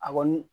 A kɔni